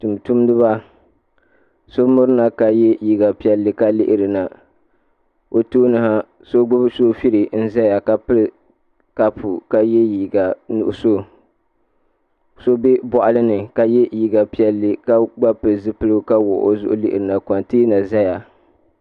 Tumtumdiba so mirina ka yɛ liiga piɛlli ka lihirina o tooni ha so gbubi soobuli n ʒɛya ka pili kaapu ka yɛ liiga nuɣso so bɛ boɣali ni ka yɛ liiga piɛlli ka gba pili zipiligu ka wuɣu o zuɣu lihirina kontɛna ʒɛya